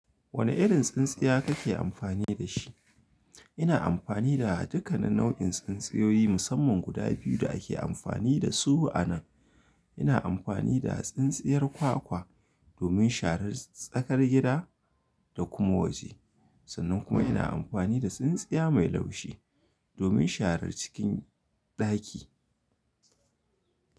Wani irin tsintsiya kake amfani da shi? Ina amfani da duka nau'in tsintsiyoyi musamman guda biyu da ake amfani da su anan. Ina amfani da tsintsiyar kwakwa domin sharar tsakar gida, da kuma waje. Sannan kuma ina amfani da tsintsiya mai laushi domin sharar cikin ɗaki.